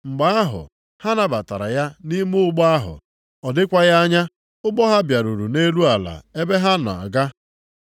Mgbe ahụ, ha nabatara ya nʼime ụgbọ ahụ, ọ dịkwaghị anya ụgbọ ha bịaruru nʼelu ala ebe ha na-aga.